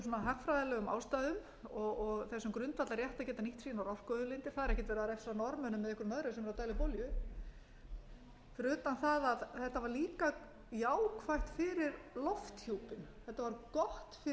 hagfræðilegum ástæðum og þessum grundvallarrétti að geta nýtt sínar orkuauðlindir það er ekkert verið að refsa norðmönnum eða einhverjumm öðrum sem eru að dæla upp olíu fyrir utan það að þetta var líka jákvætt fyrir lofthjúpinn þetta var gott fyrir umhverfið og gott